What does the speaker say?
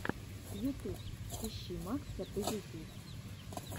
ютуб ищи макса позитив